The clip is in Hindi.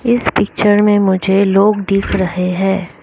इस पिक्चर में मुझे लोग दिख रहे हैं।